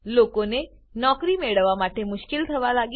લોકોને નોકરી મેળવવા માટે મુશ્કેલ થવા લાગી